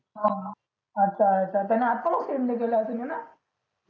हा अच्छा अच्छा त्यांनी अजून send नाही केले तुम्हाला